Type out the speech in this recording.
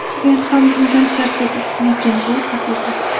Men ham bundan charchadim, lekin bu haqiqat.